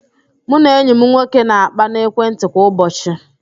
Mụ na enyi m nwoke na-akpa n'ekwentị kwa ụbọchị